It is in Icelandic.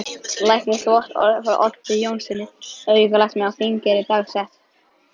Læknisvottorð frá Oddi Jónssyni, aukalækni á Þingeyri, dagsett